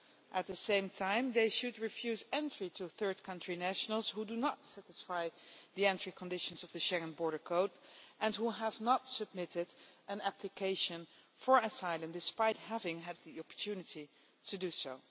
At the same time they should refuse entry to third country nationals who do not satisfy the entry conditions of the Schengen border code and who have not submitted an application for asylum despite having had the opportunity to do so.